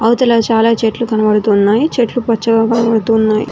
అవతల చాలా చెట్లు కనబడుతున్నాయి చెట్లు పచ్చగా కనబడుతున్నాయి.